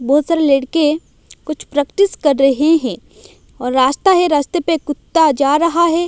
बहोत सारे लड़के कुछ प्रैक्टिस कर रहे है और रास्ता हैं रास्ते पे कुत्ता जा रहा है।